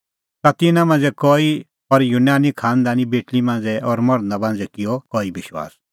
ता तिन्नां मांझ़ै कई और यूनानी खांनदानी बेटल़ी मांझ़ै और मर्धा मांझ़ै किअ कई विश्वास